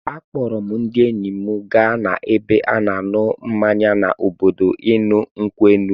A kpọọrọ m ndị enyi m gaa n'ebe a na-ṅụ mmanya n'obodo ịṅụ nkwụ elu.